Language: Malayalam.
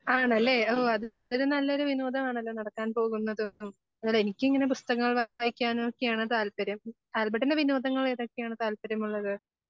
ആണല്ലേ? ഓ അതൊരു നല്ലൊരു വിനോദമാണല്ലോ? നടക്കാൻ പോകുന്നത് എനിക്ക് ഇങ്ങനെ പുസ്തകങ്ങൾ വായിക്കാനും ഒക്കെയാണ് താല്പര്യം. ആൽബർട്ടിന് വിനോദങ്ങൾ ഏതൊക്കെയാണ് താല്പര്യമുള്ളത്?